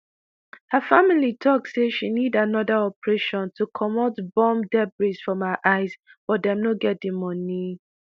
her family tok say she need anoda operation to comot bomb debris from her eyes but dem no get di money.